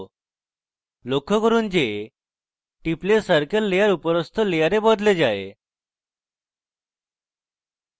লক্ষ্য করুন যে টিপলে circle layer উপরস্থ layer বদলে যায়